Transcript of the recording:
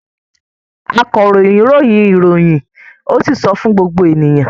Akọ̀ròyìn ròyìn ìròyìn ó sì sọ fún gbogbo ènìyàn.